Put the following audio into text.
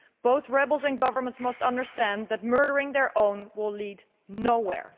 Both rebels and governments must understand that murdering their own will lead nowhere.